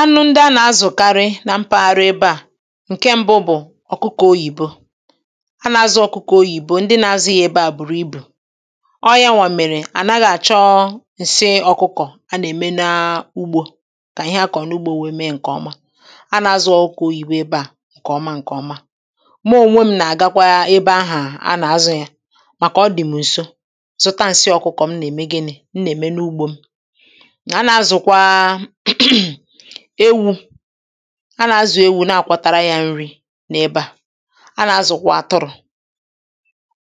anụ ndị a nà-azụ̀karị na mpaghara ebe à ǹke ṁbụ̇ bụ̀ ọ̀kụkọ̀ oyìbo a na-azụ̇ ọ̀kụkọ̀ oyìbo ndị nȧ-azụ̇ ihe ebe à bùrù ibù o yȧnwà mèrè à naghị̇ àchọ ǹsị ọ̀kụkọ̀ a nà-ème n’ugbȯ kà ihe a kọ̀rọ̀ n’ugbȯ wèe mee ǹkèọma a nà-azụ̀ ọ̀kụkọ̀ oyìbo ebe à ǹkèọma ǹkèọma ma ònwe m nà-àgakwa ebe ahụ̀ a nà-azụ̇ yȧ màkà ọ dị̀ m̀ ǹso zụta ǹsị ọ̀kụkọ̀ m nà-ème gịnị m nà-ème n’ugbȯ m ewu̇ a nà-azụ̀ ewu̇ na-àkwatara yȧ nri n’ebe à a nà-azụ̀kwà atụrụ̇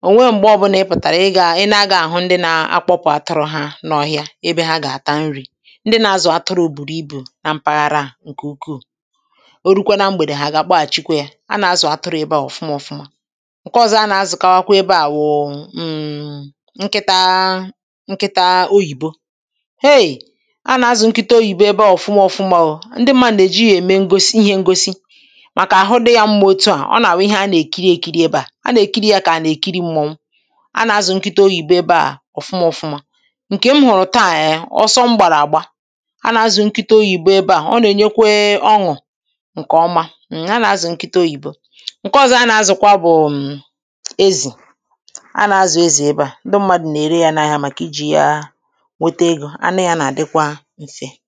ọ̀ nwee m̀gbe ọbụlà ị pụ̀tàrà ị gȧ ị na-aga àhụ ndị na-akpọpụ atụrụ̇ ha n’ọhịa ebe ha gà-àta nri̇ ndị nȧ-azụ̀ atụrụ̇ bùrù ibù nà mpaghara à ǹkè ukwuù o rukwa na mgbèdè hà àgà-àkpọàchikwa yȧ a nà-azụ̀ atụrụ̇ ebe à ọ̀fụma ọ̀fụma ǹke ọ̀zọ a nà-azụ̀kawakwa ebe àwụ̀ ǹkịtȧ oyìbo ndị mma nà-èji yȧ ème ngosi ihe ngosi màkà àhụ dị yȧ mma òtu à ọ nà-àwụ ihe a nà-èkiri èkiri ebe à a nà-èkiri yȧ kà à nà-èkiri mmụ̇ọnwụ a nà-azụ̀ nkịtȧ oyìbo ebe à ọ̀fụma ọfụma ǹkè m hụ̀rụ̀ taà yà ọsọ mgbàrà àgba a nà-azụ̀ nkịtȧ oyìbo ebe à ọ nà-ènyekwe ọnụ̀ ǹkè ọma ǹ ha nà-azụ̀ nkịtȧ oyìbo ǹke ọzọ a nà-azụ̀kwa bụ̀ ezì a nà-azụ̀ ezì ebe à ndị mmadụ̀ nà-ère yȧ n’ahịa màkà iji̇ ya nwete egȯ a na-àdịkwa ǹfe enyi